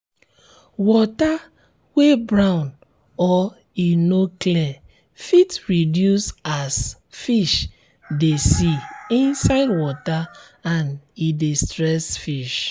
water wey brown or e no clear fit reduce as um fish um de see inside water and e um de stress fish